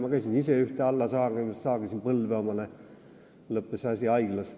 Ma käisin ise ühte alla saagimas, saagisin endale põlve, asi lõppes haiglas.